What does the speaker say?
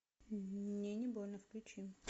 мне не больно включи